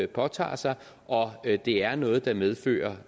påtager sig og det er noget der medfører